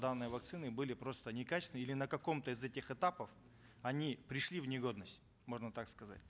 данные вакцины были просто некачественные или на каком то из этих этапов они пришли в негодность можно так сказать